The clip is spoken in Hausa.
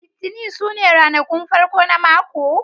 Litinin su ne ranakun farko na mako